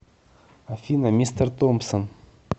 афина мистер томпсон